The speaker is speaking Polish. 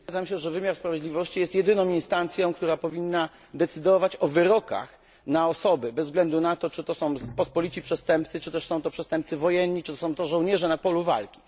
Zgadzam się, że wymiar sprawiedliwości jest jedyną instancją, która powinna decydować o wyrokach na osoby, bez względu na to, czy to są pospolici przestępcy, przestępcy wojenni czy też są to żołnierze na polu walki.